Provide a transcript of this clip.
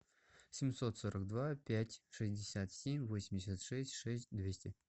семьсот сорок два пять шестьдесят семь восемьдесят шесть шесть двести